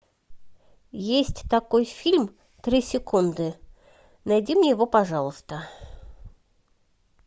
есть такой фильм три секунды найди мне его пожалуйста